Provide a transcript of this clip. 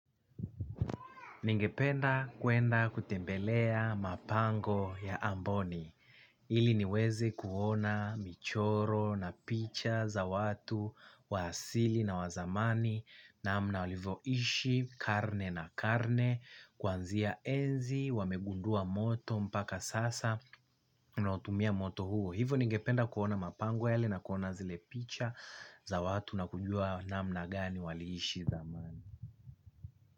Ningependa kuenda kutembelea mapango ya amboni, ili niweze kuona michoro na picha za watu wa asili na wa zamani namna walivyoishi karne na karne kuanzia enzi wamegundua moto mpaka sasa. Tunautumia moto huo. Hivo ningependa kuona mapango yale na kuona zile picha za watu na kujua namna gani waliishi zamani.